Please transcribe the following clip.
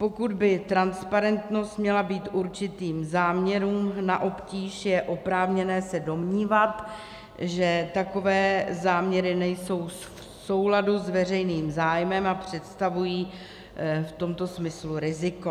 Pokud by transparentnost měla být určitým záměrům na obtíž, je oprávněné se domnívat, že takové záměry nejsou v souladu s veřejným zájmem a představují v tomto smyslu riziko.